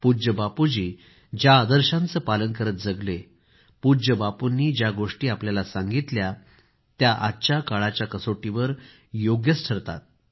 पूज्य बापू ज्या आदर्शांचे पालन करत जगले पूज्य बापूंनी ज्या गोष्टी आपल्याला सांगितल्या त्या आजच्या काळाच्या कसोटीवर योग्य ठरतात